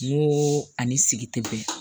N ko ani sigi tɛ bɛn